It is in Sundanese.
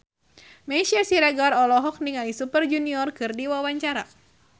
Meisya Siregar olohok ningali Super Junior keur diwawancara